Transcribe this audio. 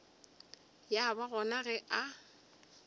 ya ba gona ge a